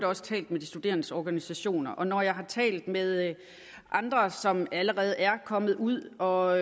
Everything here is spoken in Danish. også talt med de studerendes organisationer og når jeg har talt med andre som allerede er kommet ud og